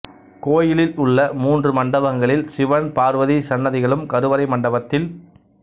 கோயிலில் உள்ள மூன்று மண்டபங்களில் சிவன் பார்வதி சன்னதிகளும் கருவறை மண்டபத்தில்